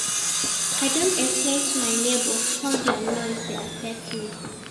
I don explain to my nebor how their noise dey affect me.